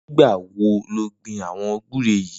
Nigbâ wó ló gbin awọn gbùré yi?